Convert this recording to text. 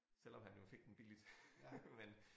Selvom han jo fik den billigt men